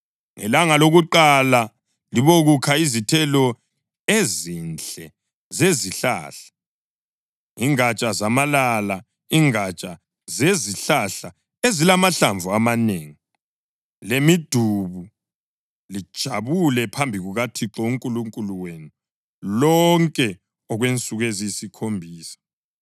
Ngelanga lokuqala libokukha izithelo ezinhle zezihlahla, ingatsha zamalala, ingatsha zezihlahla ezilamahlamvu amanengi, lemidubu, lijabule phambi kukaThixo uNkulunkulu wenu lonke okwensuku eziyisikhombisa.